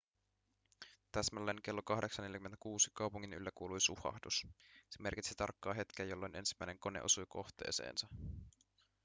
täsmälleen kello 08.46 kaupungin yllä kuului suhahdus se merkitsi tarkkaa hetkeä jolloin ensimmäinen kone osui kohteeseensa